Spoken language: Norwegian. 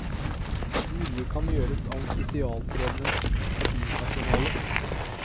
Mye kan gjøres av spesialtrenet kabinpersonale.